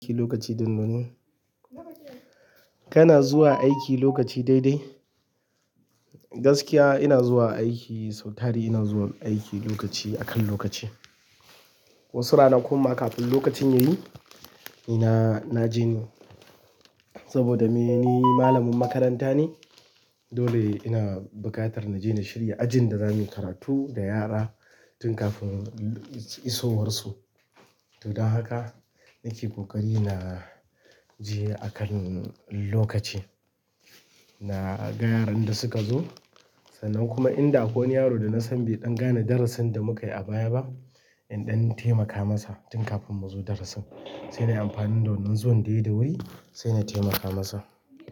Aiki lokaci ɗinnan. Kana zuwa aiki lokaci daidai? Gaskiya ina zuwa aiki, sau tari ina zuwa aiki lokaci, akan lokaci. Wasu rana kumma kafin lokacin yayi, ina-na je. Saboda me? Ni malamin makaranta ne dole ina buƙatar naje na shirya ajin da zamuyi karatu da yara tun kafin isowar su to don haka nake ƙoƙari na je akan lokaci. Na ga yaran da suka zo, sannan kuma in da akwai wani yaro da na san bai ɗan gane darasin da muka yi a baya ba, in ɗan taimaka masa tun kafin mu zo darasin. Sai na yi amfani da wannan zuwan da yai sai na taimaka masa.